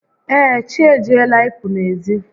Ee, chi ejiela ị pụ n'ezi